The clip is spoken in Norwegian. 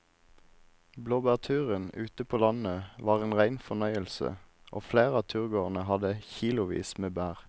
Blåbærturen ute på landet var en rein fornøyelse og flere av turgåerene hadde kilosvis med bær.